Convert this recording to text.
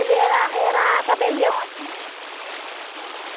Ele era era tabelião aqui.